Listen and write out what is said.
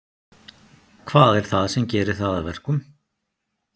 Hvað er það sem gerir það að verkum?